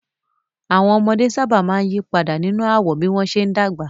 Àwọn ọmọdé sábà máa ń yí padà nínú àwọ̀ bí wọ́n ṣe ń dàgbà